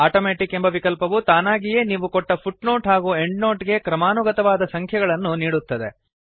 automatic ಎಂಬ ವಿಕಲ್ಪವು ತಾನಾಗಿಯೇ ನೀವು ಕೊಟ್ಟ ಫುಟ್ನೋಟ್ ಹಾಗೂ ಎಂಡ್ನೋಟ್ ಗೆ ಕ್ರಮಾನುಗತವಾದ ಸಂಖ್ಯೆಗಳನ್ನು ನೀಡುತ್ತದೆ